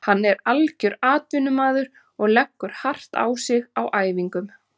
Hann er algjör atvinnumaður og leggur hart á sig á æfingum.